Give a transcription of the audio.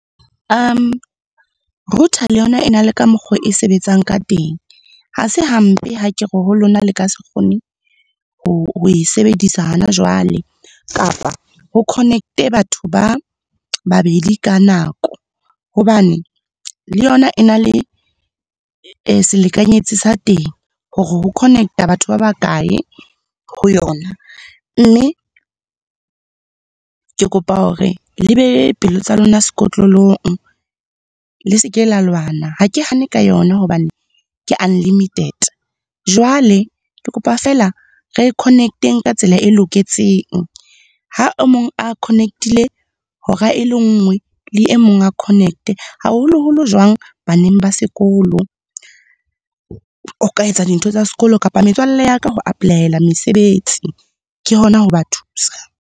Router le yona e na le ka mokgo e sebetsang ka teng. Ha se hampe ha kere ho lona le ka se kgone ho e sebedisa hona jwale kapa ho connect-e batho ba babedi ka nako. Hobane le yona e na le e selekanyetsi sa teng hore ho connect-a batho ba bakae ho yona. Mme ke kopa hore le behe pelo tsa lona sekotlolong, le seke la lwana. Ha ke hane ka yona hobane ke unlimited, jwale ke kopa feela re connect-eng ka tsela e loketseng. Ha o mong a connect-ile hora e le nngwe, le e mong a connect. Haholo-holo jwang baneng ba sekolo, o ka etsa dintho tsa sekolo kapa metswalle ya ka ho apply-ela mesebetsi. Ke hona ho ba thusa.